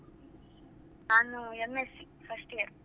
ನಾನು MSc first year .